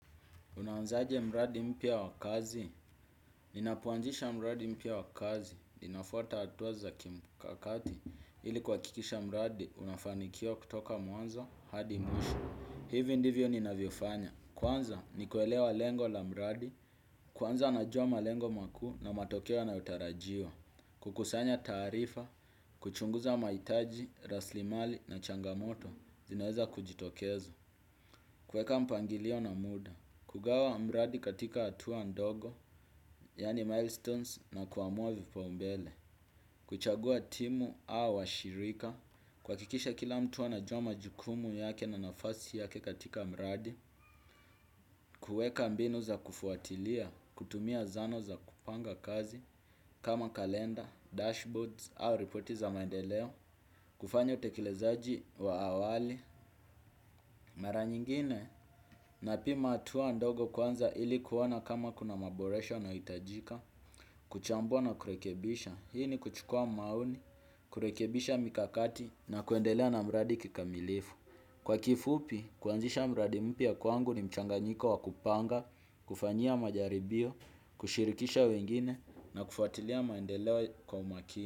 Unaanzaje mradi mpya wa kazi? Ninapoanzisha mradi mpya wa kazi. Ninafuata hatua za kimkakati ili kuhakikisha mradi unafanikiwa kutoka mwanzo hadi mwisho. Hivo ndivyo ninavyofanya. Kwanza, ni kuelewa lengo la mradi. Kwanza, najua malengo makuu na matokeo yanayotarajiwa. Kukusanya taarifa, kuchunguza mahitaji, rasilimali na changamoto, zinaweza kujitokeza. Kueka mpangilio na muda. Kugawa mradi katika hatua ndogo, yaani milestones na kuamua vipaumbele. Kuchagua timu au washirika. Kuhakikisha kila mtu anajua majukumu yake na nafasi yake katika mradi. Kuweka mbinu za kufuatilia, kutumia zano za kupanga kazi, kama kalenda, dashboards au ripoti za maendeleo. Kufanya utekelezaji wa awali. Mara nyingine. Napima hatua ndogo kwanza ili kuona kama kuna maboresho nahitajika, kuchambua na kurekebisha. Hii ni kuchukua maoni, kurekebisha mikakati na kuendelea na mradi kikamilifu. Kwa kifupi, kuanzisha mradi mpya kwangu ni mchanganyiko wa kupanga, kufanyia majaribio, kushirikisha wengine na kufuatilia maendeleo kwa umakini.